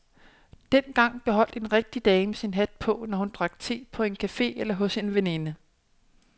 Dengang beholdt en rigtig dame sin hat på, når hun drak te på cafe eller hos en veninde.